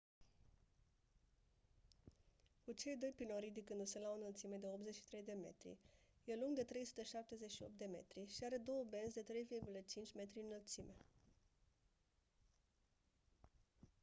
cu cei doi piloni ridicându-se la o înălțime de 83 de metri e lung de 378 de metri și are două benzi de 3,50 m lățime